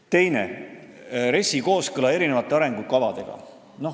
Teiseks, RES-i kooskõla arengukavadega.